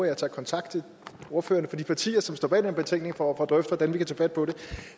jeg tager kontakt til ordførerne for de partier som står bag den her betænkning for at drøfte hvordan vi kan tage fat på det